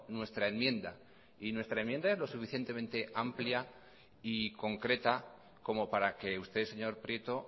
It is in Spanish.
nuestra enmienda y nuestra enmienda es lo suficientemente amplia y concreta como para que usted señor prieto